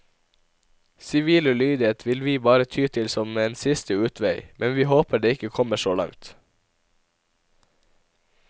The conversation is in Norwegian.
Sivil ulydighet vil vi bare ty til som en siste utvei, men vi håper det ikke kommer så langt.